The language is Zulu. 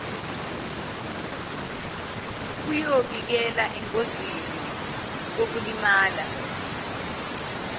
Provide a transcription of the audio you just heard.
kuyoyibeka engozini yokulimala